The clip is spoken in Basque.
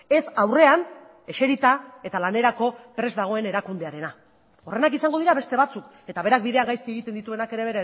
ez aurrean eserita eta lanerako prest dagoen erakundearena horrenak izango dira beste batzuk eta berak bidea gaizki egiten dituenak ere